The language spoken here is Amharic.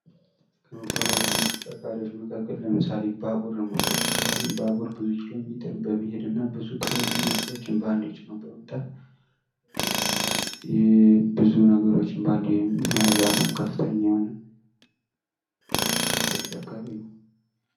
ከመጓጓዣና ተሽከርካሪወች መካክል ለምሳሌ ባቡርን መውሰድ እንችላለን። ባቡር ብዙ ኪሎሜትርን በመሄድና ብዙ እቃወችና ሰወችን ባንደ ጭኖ በመምጣት ብዙ ነገሮችን ባንደ የመያዝ አቅሙ ከፍተኛ የሆነ ተሽከርካሪ ነው።